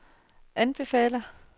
anbefaler